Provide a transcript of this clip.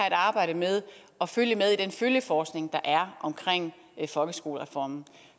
et arbejde med at følge med i den følgeforskning der er omkring folkeskolereformen